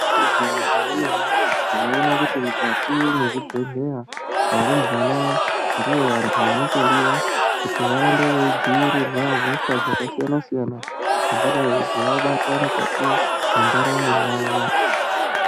Igwinyisiso remene tinoona kuti mukati mezvibhehleya varumbwana ndivo vantu vanotodiwa kuti varambe veidzivirirwa hosha dzakasiyana-siyana dzingadai dzeivabata mukati mwendaramo yavo.